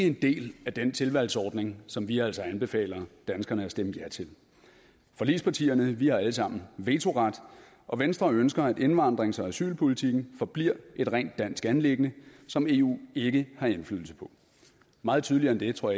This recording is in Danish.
en del af den tilvalgsordning som vi altså anbefaler danskerne at stemme ja til forligspartierne har alle sammen vetoret og venstre ønsker at indvandrings og asylpolitikken forbliver et rent dansk anliggende som eu ikke har indflydelse på meget tydeligere end det tror